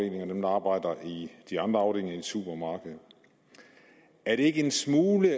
dem der arbejder i de andre afdelinger i et supermarked er det ikke en smule